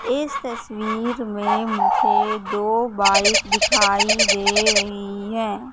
इस तस्वीर में मुझे दो बाइक दिखाई दे रही हैं।